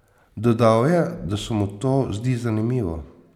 Dodal je, da se mu to zdi zanimivo.